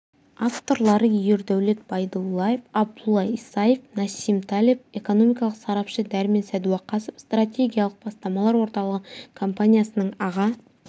авторлары ердәулет байдуллаев абдулла исаев нассим талеб экономикалық сарапшы дәрмен садуақасов стратегиялық бастамалар орталығы компаниясының аға